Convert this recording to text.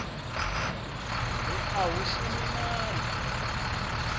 ri a hu shumi mali